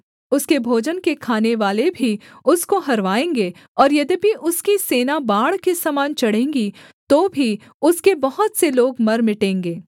उसके भोजन के खानेवाले भी उसको हरवाएँगे और यद्यपि उसकी सेना बाढ़ के समान चढ़ेंगी तो भी उसके बहुत से लोग मर मिटेंगे